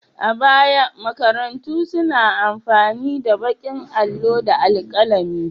A baya, makarantu suna amfani da baƙin allo da alƙalami.